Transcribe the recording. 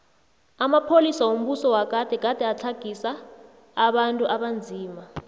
amapolisa wombuso wagade gade atlagisa abantu abanzima